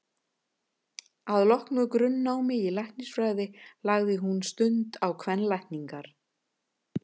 Að loknu grunnnámi í læknisfræði lagði hún stund á kvenlækningar.